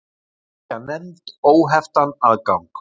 Tryggja nefnd óheftan aðgang